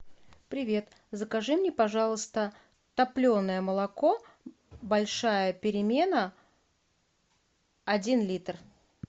привет закажи мне пожалуйста топленое молоко большая перемена один литр